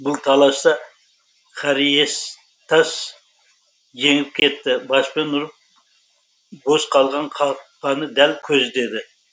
бұл таласта хариестас жеңіп кетті баспен ұрып бос қалған қақпаны дәл көздеді